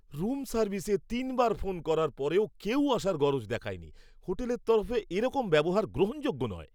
Room সার্ভিসে তিনবার phone করার পরেও কেউই আসার গরজ দেখায়নি! হোটেলের তরফে এরকম ব্যবহার গ্রহণযোগ্য নয়।